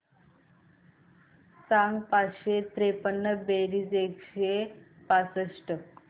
सांग पाचशे त्रेपन्न बेरीज एकशे पासष्ट